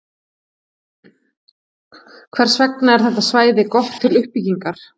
Hvers vegna er þetta svæði gott til uppbyggingar?